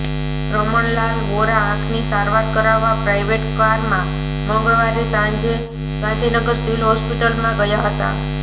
રમણલાલ વોરા આંખની સારવાર કરાવવા પ્રાઇવેટ કારમાં મંગળવારે સાંજે ગાંધીનગર સિવિલ હોસ્પિટલમાં ગયા હતા